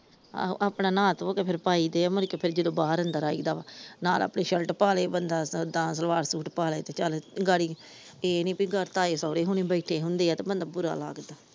ਆਹੋ ਆਪਣਾ ਨਹਾ ਤੋਹ ਕੇ ਫਿਰ ਪਾਈਦੇ ਮੁੜ੍ਹਕੇ ਕੇ ਜਦੋ ਬਾਹਰ ਅੰਦਰ ਆਈ ਦਾ ਨਾਲ ਆਪਣੀ ਸ਼ਿਰਟ ਪਾ ਲੇ ਬੰਦਾ ਤਾ ਸਲਵਾਰ ਸੂਟ ਪਾ ਲੇ ਚੱਲ ਗਾੜੀ ਇਹ ਨੀ ਤਾਏ ਸੋਹਰੇ ਹੁਣੀ ਬੈਠੇ ਹੁੰਦੇ ਆ ਬੰਦਾ ਬੁਰਾ ਲੱਗਦਾ।